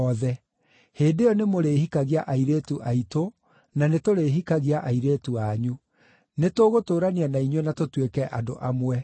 Hĩndĩ ĩyo nĩmũrĩhikagia airĩtu aitũ na nĩtũrĩhikagia airĩtu anyu. Nĩtũgũtũũrania na inyuĩ na tũtuĩke andũ amwe.